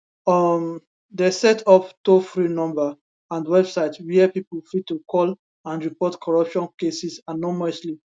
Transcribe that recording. um dem set up toll free number and website wia pipo fit to call and report corruption cases anonymously